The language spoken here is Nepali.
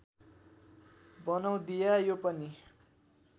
बनौधिया यो पनि